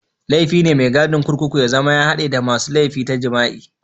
Laifi ne maikacin kurkuku ya zama hadde da masun laifi ta jima'i.